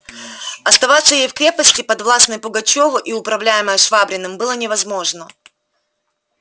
оставаться ей в крепости подвластной пугачёву и управляемой швабриным было невозможно